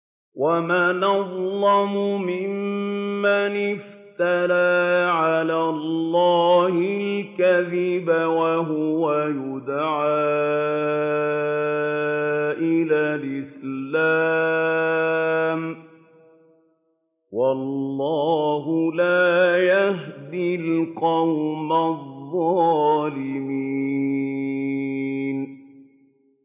وَمَنْ أَظْلَمُ مِمَّنِ افْتَرَىٰ عَلَى اللَّهِ الْكَذِبَ وَهُوَ يُدْعَىٰ إِلَى الْإِسْلَامِ ۚ وَاللَّهُ لَا يَهْدِي الْقَوْمَ الظَّالِمِينَ